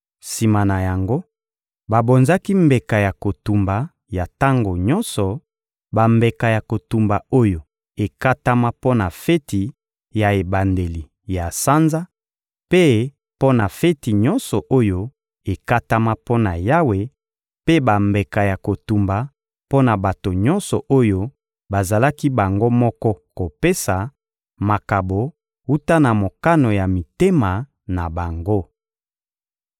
Sima na yango, babonzaki mbeka ya kotumba ya tango nyonso, bambeka ya kotumba oyo ekatama mpo na feti ya ebandeli ya sanza mpe mpo na feti nyonso oyo ekatama mpo na Yawe, mpe bambeka ya kotumba mpo na bato nyonso oyo bazalaki bango moko kopesa makabo wuta na mokano ya mitema na bango.